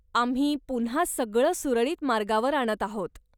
आम्ही पुन्हा सगळं सुरळीत मार्गावर आणत आहोत.